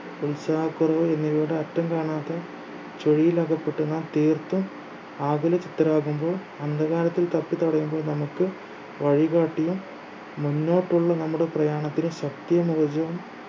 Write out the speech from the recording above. ഉത്സാഹക്കുറവ് എന്നിവയുടെ അറ്റം കാണാത്ത ചുഴിയിൽ അകപ്പെട്ടു നാം തീർത്തും ആകുല ചിത്തരാകുമ്പോൾ അന്ധകാരത്തിൽ തപ്പി തടയുമ്പോൾ നമുക്ക് വഴികാട്ടിയും മുന്നോട്ടുള്ള നമ്മുടെ പ്രയാണത്തിന് ശക്തി നൽകിയും